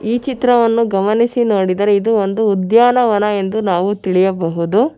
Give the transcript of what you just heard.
ಈ ಚಿತ್ರವನ್ನು ಗಮನಿಸಿ ನೋಡಿದರೆ ಇದು ಒಂದು ಉದ್ಯಾನವನ ಎಂದು ನಾವು ತಿಳಿಯಬಹುದು.